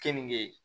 Keninge